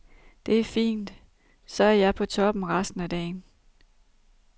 Det er fint, så er jeg på toppen resten af dagen.